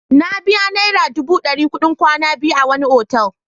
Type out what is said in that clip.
Na biya naira dubu ɗari kuɗin kwana biyu a wani otal.